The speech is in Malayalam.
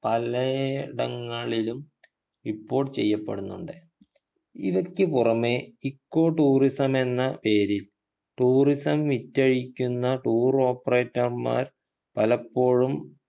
പലയിടങ്ങളിലും report ചെയ്യപ്പെടുന്നുണ്ട് ഇവയ്ക്കു പുറമെ echo tourism മെന്ന പേരിൽ tourism വിറ്റഴിക്കുന്ന tour operator മാർ പലപ്പോഴും